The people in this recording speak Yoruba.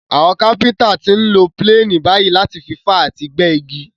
Àwon Kápẹ́ńtà ti n lo planes bàyí láti fi fá àti gbẹ́ igi